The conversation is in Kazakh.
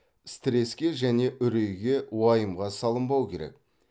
стреске және үрейге уайымға салынбау керек